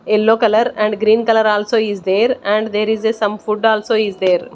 Yellow colour and green colour also is there and there is a some food also is there.